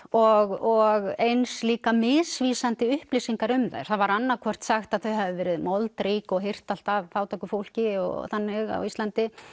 og eins líka misvísandi upplýsingar um þær það var annað hvort sagt að þau hefðu verið moldrík og hirt allt af fátæku fólki og þannig á Íslandi